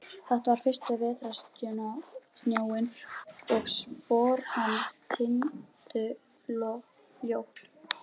Þetta var fyrsti vetrarsnjórinn og spor hans týndust fljótt.